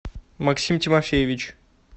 максим тимофеевич